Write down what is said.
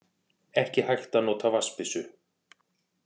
Ekki hægt að nota vatnsbyssu